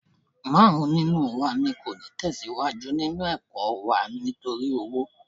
Márùn-ún nínú wa ni kò ní tẹ̀síwájú nínú ẹ̀kọ́ wa nítorí owó